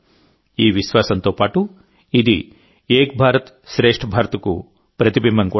ఈ విశ్వాసంతో పాటుఇది ఏక్ భారత్శ్రేష్ఠ్ భారత్ కు ప్రతిబింబం కూడా